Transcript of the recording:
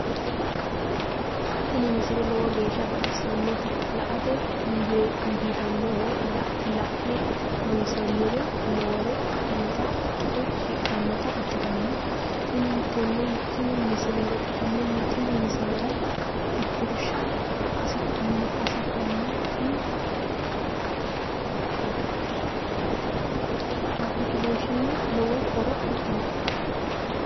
tini misile lowo geeshsha baxissannote la"ate injiitanno woy la'ne ronsannire lowore afidhinota ikkite shiqqinota ikkitanna tini misilera tittirsha hasidhanno tini appilikeeshiine lowo horo afidhino.